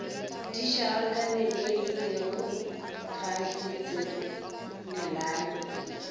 di šarakaneebile ga di tsenelane